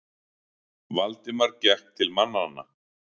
Valdimar gekk til mannanna.